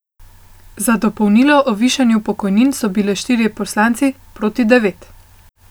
Za dopolnilo o višanju pokojnin so bili štirje poslanci, proti devet.